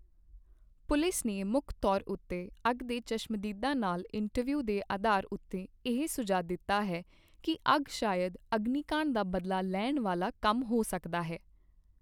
Police ਨੇ ਮੁੱਖ ਤੌਰ ਉੱਤੇ ਅੱਗ ਦੇ ਚਸ਼ਮਦੀਦਾਂ ਨਾਲ ਇੰਟਰਵਿਊ ਦੇ ਅਧਾਰ ਉੱਤੇ ਇਹ ਸੁਝਾਅ ਦਿੱਤਾ ਹੈ ਕੀ ਅੱਗ ਸ਼ਾਇਦ ਅਗਨੀਕਾਂਡ ਦਾ ਬਦਲਾ ਲੈਣ ਵਾਲਾ ਕੰਮ ਹੋ ਸਕਦਾ ਹੈ।